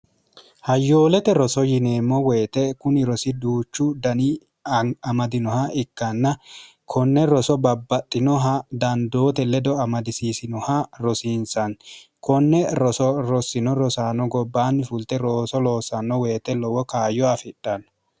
hayyoolete roso yineemmo woyite kuni rosiduuchu dani amadinoha ikkanna konne roso babbaxxinoha dandoote ledo amadisiisinoha rosiinsanni konne roso rossino rosaanno gobbaanni fulte rooso loosanno woyite lowo kaayyo afidhanno